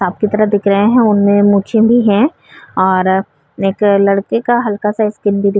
Shop की तरह दिख रहे हैं। उनमें मूछें भी हैं और एक लड़के का हल्का सा स्किन भी दिख --